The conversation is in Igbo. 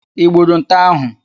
I gburu nte ahụ?